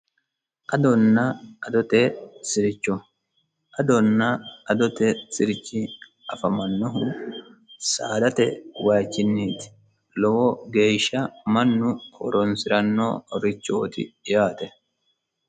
adanna adote sircho adonna adote sirchi afamannohu saadate wiichinniti lowo geeshsha mannu horonsirannorichooti yaate.